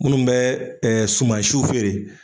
Munnu bɛ sumansiw feere